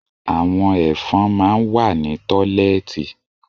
Àwọn Ẹ̀fọ̀n máa ń wà ní tọ́lẹ́ẹ́tì